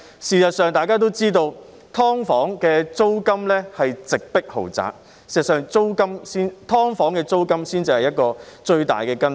事實上，大家也知道，"劏房"租金直迫豪宅，"劏房"租金才是問題最大的根本。